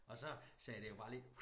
Og så sagde det jo bare lige